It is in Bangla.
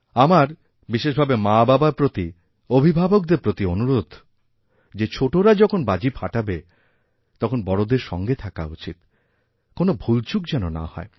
আমার বিশেষভাবে মাবাবারপ্রতি অভিভাবকদের প্রতি অনুরোধ যে ছোটরা যখন বাজি ফাটাবে তখন বড়োদের সঙ্গে থাকাউচিত কোনও ভুলচুক যেন না হয়